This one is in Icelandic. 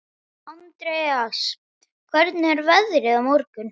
Andreas, hvernig er veðrið á morgun?